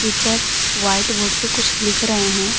White board पे कुछ लिख रहे है।